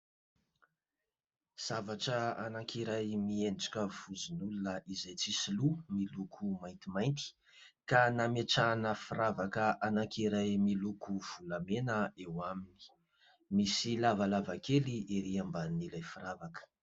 Zavatra anankiray miendrika vozon'olona izay tsisy loha miloko maintimainty ka nametrahana firavaka anankiray miloko volamena eo aminy, misy lavalava kely ery ambonin'ilay firavaka.